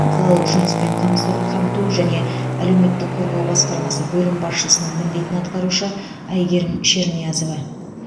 қалалық жұмыспен қамсу қамту жане әлеуметтік қорғау басқармасы бөлім басшысының міндетін атқарушы әйгерім шерниязова